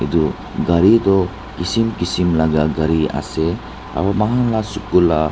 edu gari toh kishim kishim laka gari ase aro mahan la suku la.